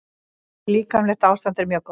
Líkamlegt ástand er mjög gott.